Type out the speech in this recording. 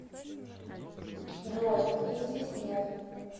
джой их здесь нет